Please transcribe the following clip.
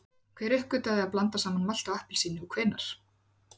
Hver uppgötvaði að blanda saman malti og appelsíni og hvenær?